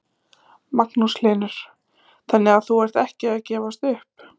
Magnús Hlynur: Þannig að þú ert ekki að gefast upp?